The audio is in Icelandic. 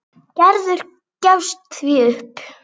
Gerður gefst því upp.